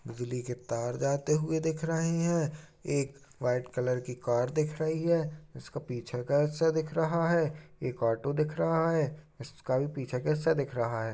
बिजली के तार जाते हुए दिख रहे हैं एक व्हाइट कलर की कार दिख रही है उसका पीछा कैसा दिख रहा है एक ऑटो दिख रहा है उसका भी पीछा कैसा दिख रहा है।